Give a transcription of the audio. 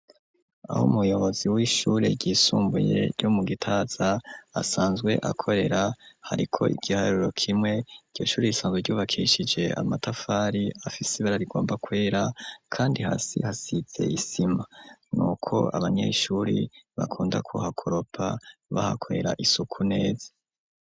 Aho umuyobozi w'ishure ryisumbuye ryo mu gitaza asanzwe akorera hariko igihariro kimwe iryo shuri risanzwe ryubakishije amatafari afise ibara rigomba kwera kandi hasi hasize isima, nuko abanyeshure bakunda kuha kuropa bahakorera isuku neza.